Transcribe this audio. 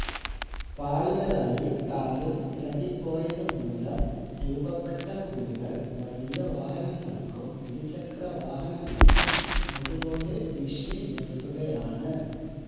പാളികളായി tarring ഇളകി പോയതുമൂലം രൂപപ്പെട്ട കുഴികള് വലിയ വാഹനങ്ങള്ക്കും ഇരുചക്രവാഹനങ്ങള്ക്കും ഒരുപോലെ ഭീഷണിയുയര്ത്തുകയാണ്